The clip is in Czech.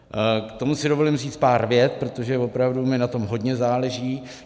K tomu si dovolím říct pár vět, protože opravdu mi na tom hodně záleží.